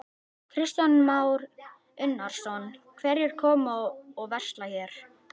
Kristján Már Unnarsson: Hverjir koma og versla hér?